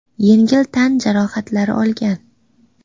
yengil tan jarohatlari olgan.